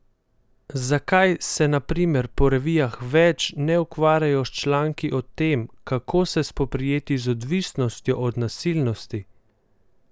Zakaj se na primer po revijah več ne ukvarjajo s članki o tem, kako se spoprijeti z odvisnostjo od nasilnosti?